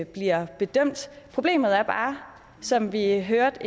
bliver bedømt problemet er bare som vi hørte